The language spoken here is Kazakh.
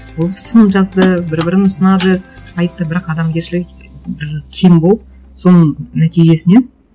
ол сын жазды бір бірін сынады айтты бірақ адамгершілігі бір кем болып соның нәтижесіне